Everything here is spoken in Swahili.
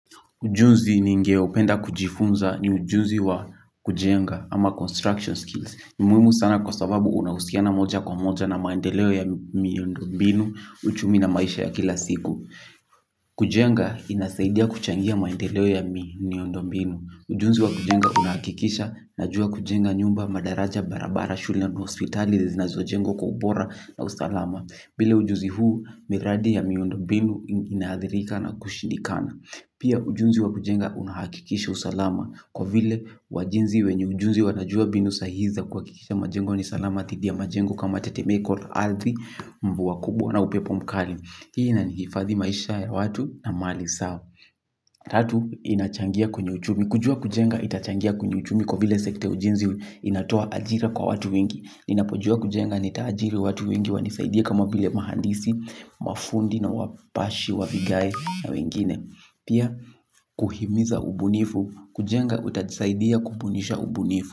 Ujunzi ningeopenda kujifunza ni ujuzi wa kujenga ama construction skills. Ni muimu sana kwa sababu unahusiana moja kwa moja na maendeleo ya miuondo mbinu uchumi na maisha ya kila siku. Kujenga inasaidia kuchangia maendeleo ya miundombinu. Ujunzi wa kujenga unahakikisha najua kujenga nyumba madaraja barabara shule na hospitali zinazojengwa kwa ubora na usalama. Bila ujuzi huu miradi ya miundombinu inaadhirika na kushindikana. Pia ujunzi wa kujenga unahakikisha usalama kwa vile wajinzi wenye ujuzi wanajua binu sahihu za kuhakikisha majengo ni salama thidi ya majengo kama tetemeko la ardhi mvua kubwa na upepo mkali. Hii inanifadhi maisha ya watu na mali sao. Tatu inachangia kwenye uchumi. Kujua kujenga itachangia kwenye uchumi kwa vile sekta ya ujinzi inatoa ajira kwa watu wengi. Ninapojua kujenga nitaajiri watu wengi wanisaidie kama vile mahandisi, mafundi na wapashi, wa vigai na wengine. Pia, kuhimiza ubunifu, kujenga utanisaidia kubunisha ubunifu.